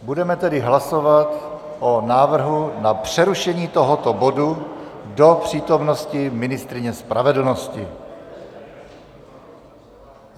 Budeme tedy hlasovat o návrhu na přerušení tohoto bodu do přítomnosti ministryně spravedlnosti.